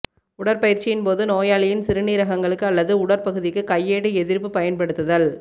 உடற்பயிற்சியின் போது நோயாளியின் சிறுநீரகங்களுக்கு அல்லது உடற்பகுதிக்கு கையேடு எதிர்ப்பு பயன்படுத்துதல்